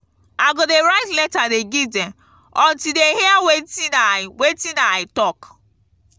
i go dey write letter dey give dem until dey hear wetin i wetin i talk.